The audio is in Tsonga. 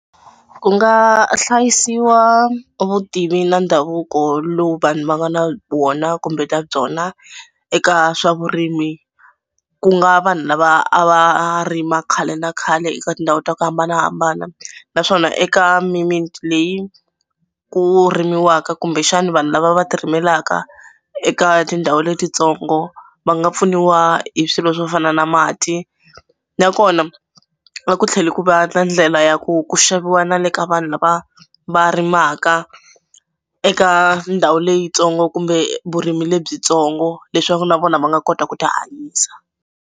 Ku nga hlayisiwa vutivi na ndhavuko lowu vanhu va nga na vona kumbe ta byona eka swa vurimi. Ku nga vanhu lava a va rima khale na khale eka tindhawu ta ku hambanahambana naswona eka mimiti leyi ku rimiwaka kumbexana vanhu lava va tirimelaka eka tindhawu letitsongo va nga pfuniwa hi swilo swo fana na mati nakona a ku tlheli ku va ndlela ya ku ku xaviwa na le ka vanhu lava va rimaka eka ndhawu leyitsongo kumbe vurimi lebyitsongo leswaku na vona va nga kota ku tihanyisa.